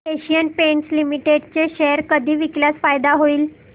Asian Paints Limited चे share कधी विकल्यास फायदा होईल